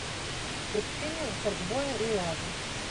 приключения шаркбоя и лавы